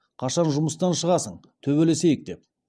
қашан жұмыстан шығасың төбелесейік деп